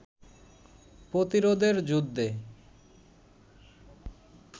প্রতিরোধের যুদ্ধে